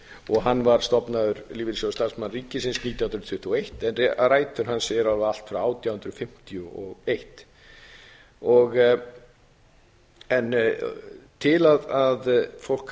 og hann var stofnaður lífeyrissjóður starfsmanna ríkisins nítján hundruð tuttugu og eitt en rætur hans eru allt frá átján hundruð fimmtíu og eitt til að fólk